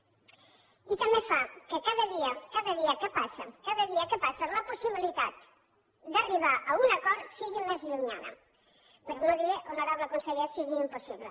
i també fa que cada dia cada dia que passa cada dia que passa la possibilitat d’arribar a un acord sigui més llunyana per no dir honorable conseller que sigui impossible